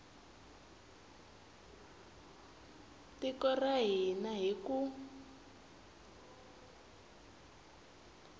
tiko ra hina hi ku